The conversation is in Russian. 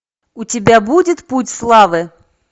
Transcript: у тебя будет путь славы